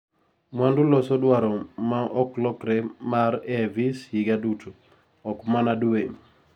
mwandu loso dwaro maa oklokre mar AIVs higa duto, okmana due